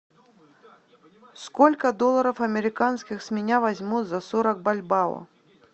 сколько долларов американских с меня возьмут за сорок бальбоа